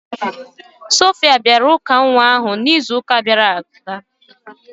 Sophia bịara ụka nwa ahụ n'izu ụka gara aga